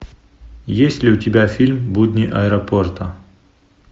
есть ли у тебя фильм будни аэропорта